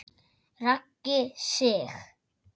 Raggi Sig.